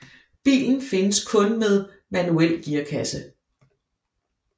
Bilen findes kun med manuel gearkasse